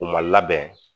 U ma labɛn